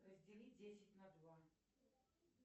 разделить десять на два